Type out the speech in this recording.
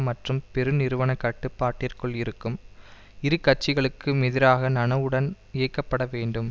மற்றும் பெருநிறுவனக் கட்டுப்பாட்டிற்குள் இருக்கும் இரு கட்சிகளுக்கும் எதிராக நனவுடன் இயக்கப்பட வேண்டும்